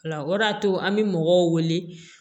O la o de y'a to an bɛ mɔgɔw wele